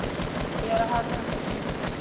Gera hana að sinni.